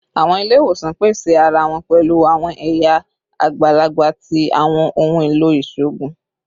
Awọn ile-iwosan pese ara wọn pẹlu awọn ẹya agbalagba ti awọn ohun elo iṣoogun